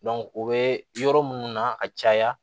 o bɛ yɔrɔ minnu na ka caya